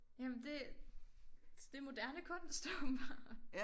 Jamen det det moderne kunst åbenbart